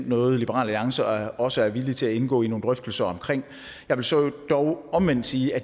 noget liberal alliance også er villig til at indgå i nogle drøftelser om jeg vil så dog omvendt sige at